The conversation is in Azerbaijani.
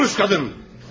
Konuş, qadın!